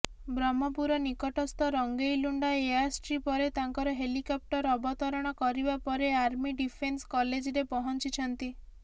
ବ୍ରହ୍ମପୁର ନିକଟସ୍ଥ ରଙ୍ଗେଇଲୁଣ୍ଡା ଏୟାରଷ୍ଟ୍ରିପରେ ତାଙ୍କର ହେଲିକପ୍ଟର ଅବତରଣ କରିବା ପରେ ଆର୍ମି ଡିଫେନ୍ସ କଲେଜରେ ପହଞ୍ଚିଛନ୍ତି